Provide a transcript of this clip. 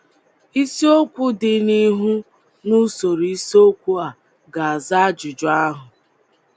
Isiokwu dị n’ihu n’usoro isiokwu a ga - aza ajụjụ ahụ.